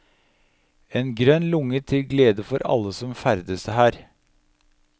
En grønn lunge til glede for alle som ferdes her.